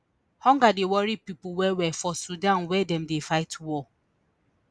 hunger dey worry pipo wellwell for sudan wia dem dey fight war